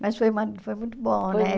Mas foi ma foi muito bom, né?